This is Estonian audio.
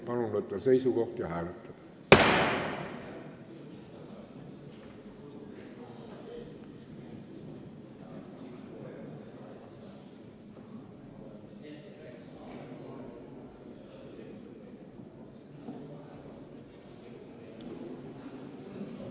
Palun võtta seisukoht ja hääletada!